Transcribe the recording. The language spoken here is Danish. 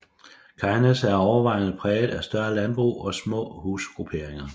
Kegnæs er overvejende præget af større landbrug og små husgrupperinger